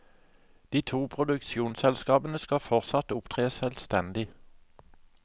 De to produksjonsselskapene skal fortsatt opptre selvstendig.